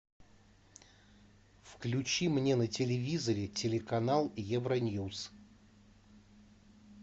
включи мне на телевизоре телеканал евроньюз